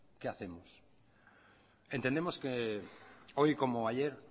qué hacemos entendemos que hoy como ayer